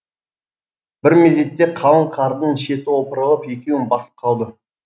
бір мезетте қалың қардың шеті опырылып екеуін басып қалды